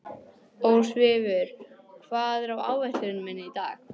Ósvífur, hvað er á áætluninni minni í dag?